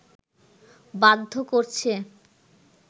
বাধ্য করছে